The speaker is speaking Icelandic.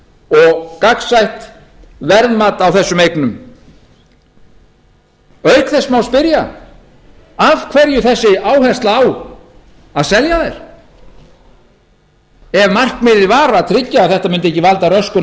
og gagnsætt verðmat á þessum eignum auk þess má spyrja af hverju þessi áhersla á að selja þær ef markmiðið var að tryggja að þetta mundi ekki valda röskun